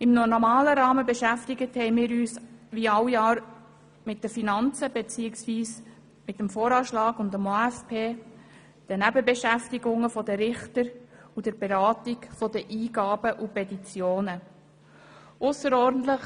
In normalem Rahmen haben wir uns wie jedes Jahr mit den Finanzen, beziehungsweise mit dem Voranschlag und dem Aufgaben-/Finanzplan, den Nebenbeschäftigungen der Richter und der Beratung der Eingaben und Petitionen beschäftigt.